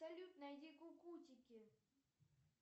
салют найди кукутики